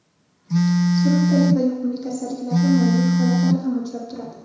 surunkali va yuqumli kasalliklarga moyillik holatlari ham uchrab turadi.